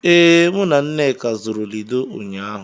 Ee, mụ na nneka zụrụ Lido ụnyaahụ.